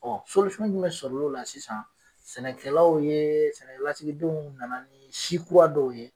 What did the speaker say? jumɛn sɔrɔ lo la sisan, sɛnɛkɛlaw ye, sɛnɛkɛlasigidenw nana ni si kurawa dɔw ye.